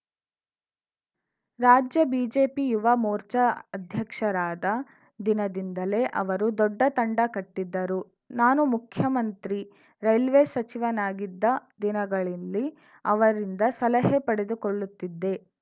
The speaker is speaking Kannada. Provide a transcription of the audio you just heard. ರಾಜ್ಯ ಬಿಜೆಪಿ ಯುವ ಮೋರ್ಚಾ ಅಧ್ಯಕ್ಷರಾದ ದಿನದಿಂದಲೇ ಅವರು ದೊಡ್ಡ ತಂಡ ಕಟ್ಟಿದ್ದರು ನಾನು ಮುಖ್ಯಮಂತ್ರಿ ರೈಲ್ವೆ ಸಚಿವನಾಗಿದ್ದ ದಿನಗಳಲ್ಲಿ ಅವರಿಂದ ಸಲಹೆ ಪಡೆದುಕೊಳ್ಳುತ್ತಿದ್ದೆ